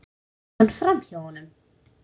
Heldur konan framhjá honum?